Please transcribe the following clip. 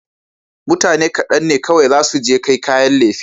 Mutane kaɗan ne kawai zasu je kai kayan lefe.